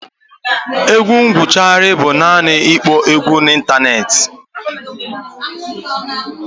Egwu gụgharia bụ naanị ịkpọ egwu n'ịntanetị